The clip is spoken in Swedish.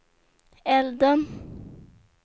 elden